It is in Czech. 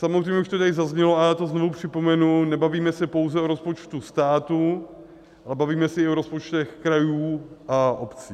Samozřejmě, už to tady zaznělo a já to znovu připomenu, nebavíme se pouze o rozpočtu státu, ale bavíme se i o rozpočtech krajů a obcí.